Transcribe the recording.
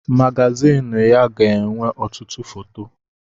Magazịn ya ga-enwe ọtụtụ foto.